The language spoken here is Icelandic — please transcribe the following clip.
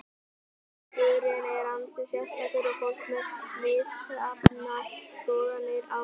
Búningurinn er ansi sérstakur og fólk með misjafnar skoðanir á honum.